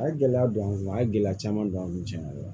A ye gɛlɛya don an kun a ye gɛlɛya caman don an kun tiɲɛna